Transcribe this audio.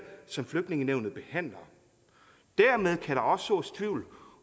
som flygtningenævnet behandler dermed kan der også sås tvivl